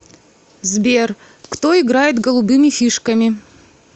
сбер кто играет голубыми фишками